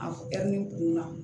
A ni kunna